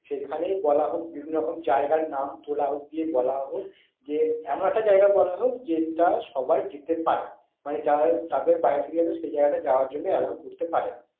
সেখানেই বলা হোক বিভিন্ন রকম জায়গার নাম তোলা হোক দিয়ে বলা হোক যে এমন একটা জায়গা বলা হোক যেটা সবাই যেতে পারে। মানে যারা তাদের বাড়ি থেকে যেন সেই জায়গাটা যাওয়ার জন্য allow করতে পারে।